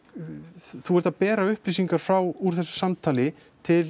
þú ert að bera upplýsingar frá úr þessu samtali til